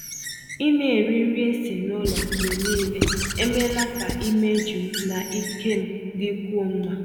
Ị na-eri nri esi n'ụlọ mgbe niile emeela ka imeju m na ike m dịkwuo mma.